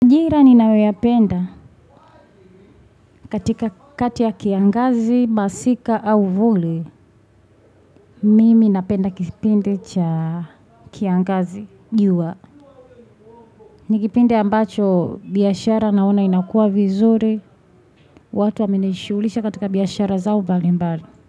Njira ninayoyapenda katika kati ya kiangazi, masika au vuli, mimi napenda kipindi cha kiangazi jua. Ni kipinde ambacho biashara naona inakua vizuri, watu wamenishuulisha katika biashara zao bali mbali.